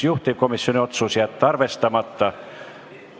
Juhtivkomisjoni otsus: jätta arvestamata.